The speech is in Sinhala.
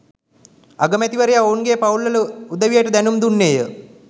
අගමැතිවරයා ඔවුන්ගේ පවුල්වල උදවියට දැනුම් දුන්නේය.